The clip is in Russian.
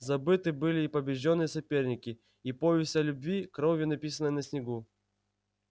забыты были и побеждённые соперники и повесть о любви кровью написанная на снегу